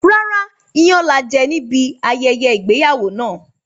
Rárá, iyán laje níbi ayẹyẹ ìgbéyàwó náà.